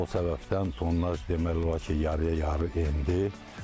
O səbəbdən tonnaj demək olar ki, yarıya-yarı endi.